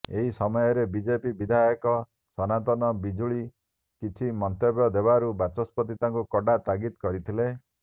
ଏହି ସମୟରେ ବିଜେପି ବିଧାୟକ ସନାତନ ବିଜୁଳି କିଛି ମନ୍ତବ୍ୟ ଦେବାରୁ ବାଚସ୍ପତି ତାଙ୍କୁ କଡ଼ା ତାଗିଦ୍ କରିଥିଲେ